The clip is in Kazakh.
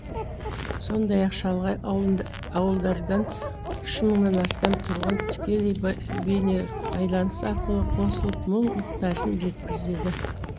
сондай ақ шалғай ауылдардан үш мыңнан астам тұрғын тікелей бейнебайланыс арқылы қосылып мұң мұқтажын жеткізді